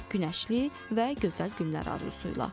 Günəşli və gözəl günlər arzusu ilə.